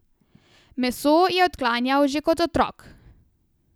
Meso je odklanjal že kot otrok.